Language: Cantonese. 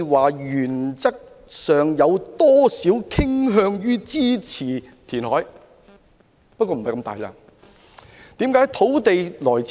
我原則上傾向支持填海，不過並非如此大的面積。